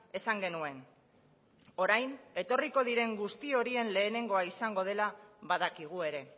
esan genuen orain etorri diren guzti horien lehenengoa izango dela badakigu ere